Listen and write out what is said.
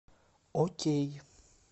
окей